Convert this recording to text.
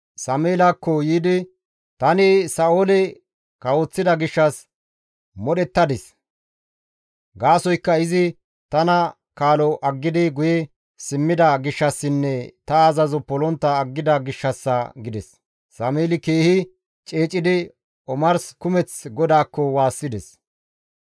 «Tani Sa7oole kawoththida gishshas modhettadis; gaasoykka izi tana kaalo aggidi guye simmida gishshassinne ta azazo polontta aggida gishshassa» gides. Sameeli keehi ceecidi omars kumeth GODAAKKO waassides.